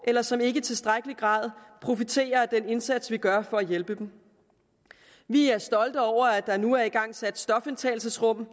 eller som ikke i tilstrækkelig grad profiterer af den indsats vi gør for at hjælpe dem vi er stolte over at der nu er igangsat stofindtagelsesrum